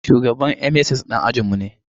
Shugaban MSS ɗan ajin mu ne